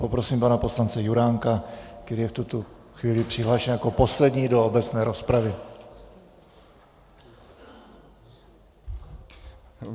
Poprosím pana poslance Juránka, který je v tuto chvíli přihlášen jako poslední do obecné rozpravy.